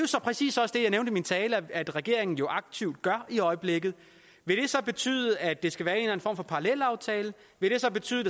så præcis også det jeg nævnte i min tale at regeringen aktivt gør i øjeblikket vil det så betyde at det skal være en form for parallelaftale vil det så betyde